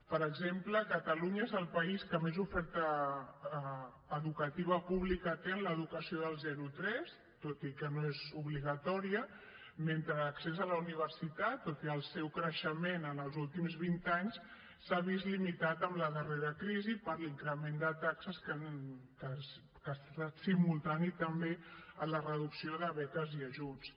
per exemple catalunya és el país que més oferta educativa pública té en l’educació del zero a tres tot i que no és obligatòria mentre l’accés a la universitat tot i el seu creixement en els últims vint anys s’ha vist limitat amb la darrera crisi per l’increment de taxes que ha estat simultani també a la reducció de beques i ajuts